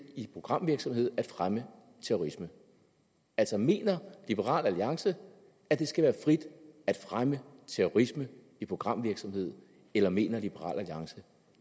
i programvirksomhed at fremme terrorisme altså mener liberal alliance at det skal være frit at fremme terrorisme i programvirksomhed eller mener liberal alliance